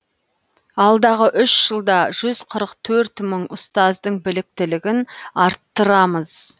алдағы үш жылда жүз қырық төрт мың ұстаздың біліктілігін арттырамыз